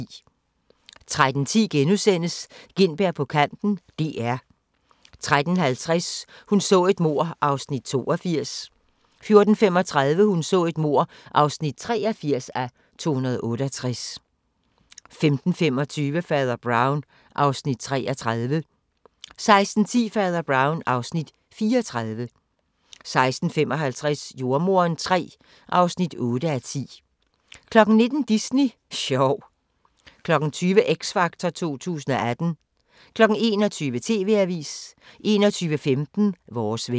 13:10: Gintberg på kanten - DR * 13:50: Hun så et mord (82:268) 14:35: Hun så et mord (83:268) 15:25: Fader Brown (Afs. 33) 16:10: Fader Brown (Afs. 34) 16:55: Jordemoderen III (8:10) 19:00: Disney sjov 20:00: X Factor 2018 21:00: TV-avisen 21:15: Vores vejr